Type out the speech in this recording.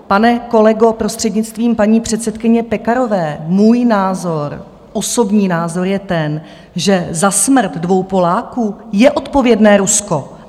Pane kolego, prostřednictvím paní předsedkyně Pekarové, můj názor, osobní názor je ten, že za smrt dvou Poláků je odpovědné Rusko.